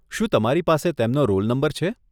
શું તમારી પાસે તેમનો રોલ નંબર છે?